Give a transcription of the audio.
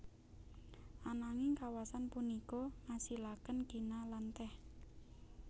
Ananging kawasan punika ngasilaken kina lan teh